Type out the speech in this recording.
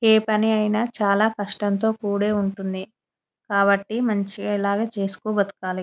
ఏ పనియిన చాలా కష్టముతో కుడే ఉంటుంది కాబటి మంచిగా ఇలాగే చేస్తూ బ్రతకాలి.